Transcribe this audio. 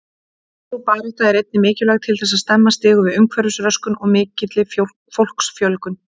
Sú barátta er einnig mikilvæg til þess að stemma stigu við umhverfisröskun og mikilli fólksfjölgun.